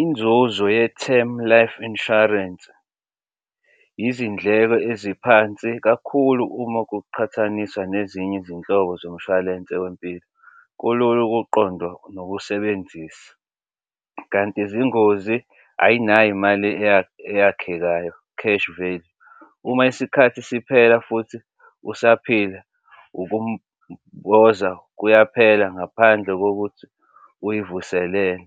Inzuzo ye-term life insurance izindleko eziphansi kakhulu uma kuqhathaniswa nezinye izinhlobo zomshwalense wempilo, kulula ukuqonda nokusebenzisa. Kanti izingozi ayinayo imali eyakhekayo, cash vele, uma isikhathi siphela futhi usaphila ukumboza kuyaphela ngaphandle kokuthi uyivuselele